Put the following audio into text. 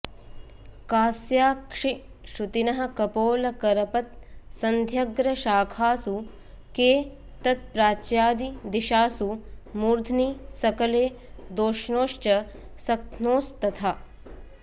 कास्याक्षिश्रुतिनः कपोलकरपत्सन्ध्यग्रशाखासु के तत्प्राच्यादिदिशासु मूर्ध्नि सकले दोष्णोश्च सक्थ्नोस्तथा